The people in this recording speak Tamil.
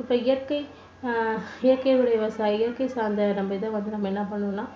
இப்போ இயற்கை அஹ் இயற்கை முறை விவசாயிகள் இயற்கை இயற்கை சார்ந்து இதை வந்து நம்ம என்ன பண்ணணும்னா